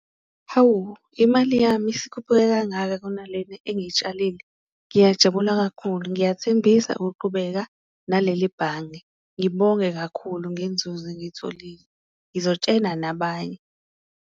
Hawu! Imali yami isikhuphuke kangaka kunalena engiyitshalile, ngiyajabula kakhulu. Ngiyathembisa ukuqhubeka naleli bhange ngibonge kakhulu ngenzuzo engiyitholile ngizotshena nabanye.